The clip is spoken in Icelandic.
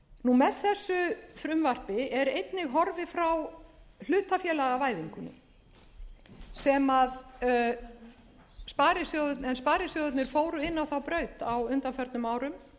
þessu frumvarpi er einnig horfið frá hlutafélagavæðingunni en sparisjóðirnir fóru inn á þá braut á undanförnum árum þetta